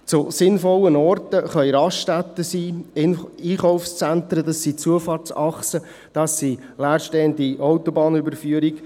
Sinnvolle Orte können Raststätten sein, Einkaufszentren, Zufahrtsachsen, leerstehende Autobahnüberführungen.